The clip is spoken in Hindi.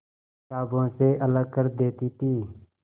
किताबों से अलग कर देती थी